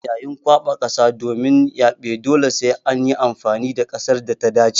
Yayin kwaɓa kasa domin yaɓe dole sai an yi amfani da kasar da ta dace.